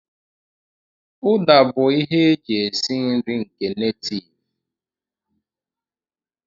Uda bụ ihe e ji esi nri nke netiiv.